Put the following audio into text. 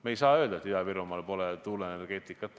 Me ei saa öelda, et Ida-Virumaal pole tuuleenergeetikat.